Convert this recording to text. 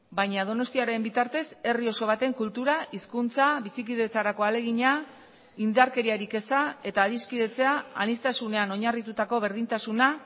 baina donostiaren bitartez herri oso baten kultura hizkuntza bizikidetzarako ahalegina indarkeriarik eza eta adiskidetzea aniztasunean oinarritutako berdintasuna